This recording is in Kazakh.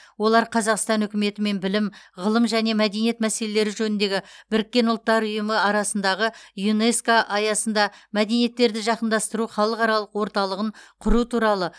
олар қазақстан үкіметі мен білім ғылым және мәдениет мәселелері жөніндегі біріккен ұлттар ұйымы арасындағы юнеско аясында мәдениеттерді жақындастыру халықаралық орталығын құру туралы